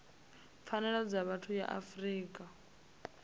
pfanelo dza vhathu ya afrika